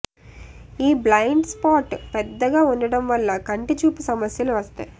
ఈ blind spot పెద్దగా ఉండటం వల్ల కంటి చూపు సమస్యలు వస్తాయి